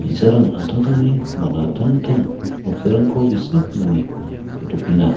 bi·sarang an·tangtangni man·atangtang noksarangko gisik nange saltokenga.